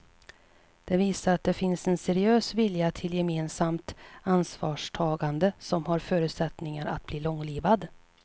Det visar att det finns en seriös vilja till gemensamt ansvarstagande som har förutsättningar att bli långlivad.